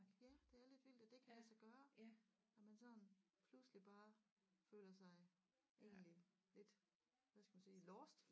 Ja det er lidt vildt at det kan lade sig gøre at man sådan pludselig bare føler sig egentlig lidt hvad skal man sige lost